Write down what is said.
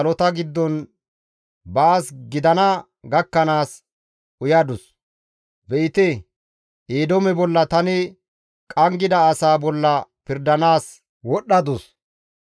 Ta giththa mashshay salota giddon baas gidana gakkanaas uyadus; be7ite; Eedoome bolla, tani qanggida asaa bolla pirdanaas wodhdhadus.